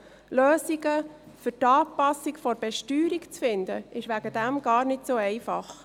Lösungen für die Anpassung der Besteuerung zu finden, ist deswegen gar nicht so einfach.